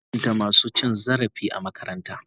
An hukunta masu cin zarafi a makarantara.